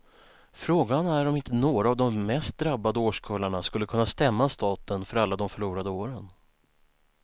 Frågan är om inte några av de mest drabbade årskullarna skulle kunna stämma staten för alla de förlorade åren.